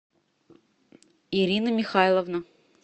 ирина михайловна